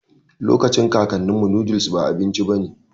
Lokacin kakaninmu, noodles ba abinci bane